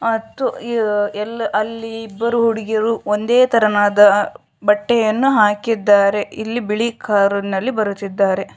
ಅಲ್ಲಿ ಇಬ್ಬರು ಹುಡುಗಿಯರು ಒಂದೇ ತರಹದ ಬಟ್ಟೆಯನ್ನು ಹಾಕಿದ್ದಾರೆ ಇಲ್ಲಿ ಬಿಳಿ ಕಾರ್‌ನಲ್ಲಿ ಬರುತ್ತಿದ್ದಾರೆ